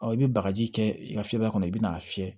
i bɛ bagaji kɛ i ka fiyɛli kɔnɔ i bɛ n'a fiyɛ